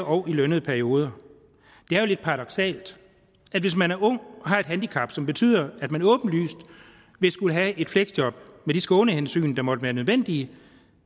og i lønnede perioder det er jo lidt paradoksalt at hvis man er ung og har et handicap som betyder at man åbenlyst vil skulle have et fleksjob med de skånehensyn der måtte være nødvendige